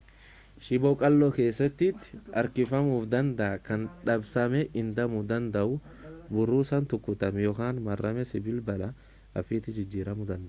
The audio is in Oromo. shiboo qalloo keessatti harkifamuu danda'a kan dabsamee hidhamuu danda'u burrusaan rukutamee yookaan maramee sibiila bal'aa haphiitti jijjiiramuu danda'a